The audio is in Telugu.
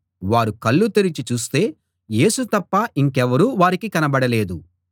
వారు కళ్ళు తెరచి చూస్తే యేసు తప్ప ఇంకెవరూ వారికి కనబడలేదు